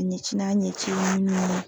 a ɲɛci n'a ɲɛciw ye mun ye.